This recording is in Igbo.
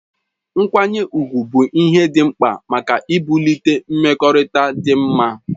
Nkwanye ugwu bụ ihe dị mkpa maka ibulite mmekọrịta dị mma